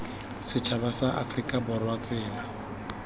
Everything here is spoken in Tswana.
setšhaba sa aforika borwa tsela